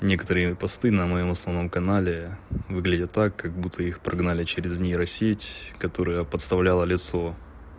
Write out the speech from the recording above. некоторые посты на моём основном канале выглядят так как будто их прогнали через нейросеть которая поставляла лицо